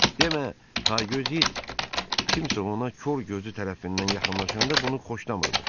Demə, taygöz it kimsə ona kor gözü tərəfindən yaxınlaşanda bunu xoşlamırmış.